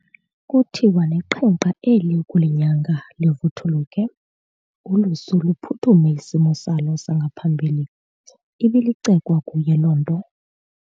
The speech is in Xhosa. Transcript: Kuthiwa neqhenkqa eli ukulinyanga livuthuluke, ulusu luphuthume isimo salo sangaphambili, ibilicekwa kuye loo nto.